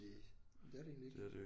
Næ men det er det egentlig ikke